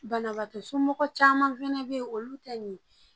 Banabaatɔ somɔgɔ caman fɛnɛ be yen olu tɛ nin